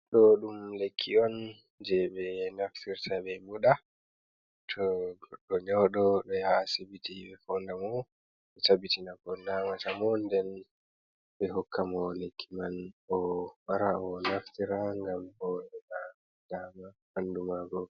Ɗo ɗum lekki on, je ɓe naftirta ɓe muɗa, to goɗɗo nyauɗo ɓe yaha asibiti ɓe fonda mo ɓe tabbitina ko nawata mo, nɗen be hokka mo leki man o wara o naftira ngam ngam o heɓa dama ɓandu majum.